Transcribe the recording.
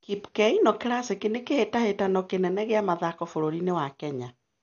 Kip Keino Classic nĩ kĩhĩtahĩtano kĩnene gĩa mathako bũrũri-inĩ wa Kenya.